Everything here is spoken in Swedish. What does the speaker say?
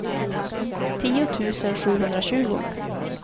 tio tusen sjuhundratjugo